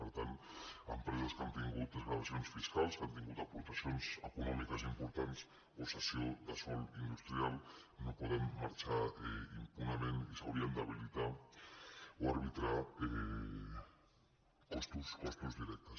per tant empreses que han tingut desgravacions fiscals que han tingut aportacions econòmiques importants o ces·sió de sòl industrial no poden marxar impunement i s’haurien d’habilitar o arbitrar costos directes